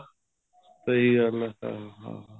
ਸਹੀ ਗੱਲ ਹੈ ਹਾਂ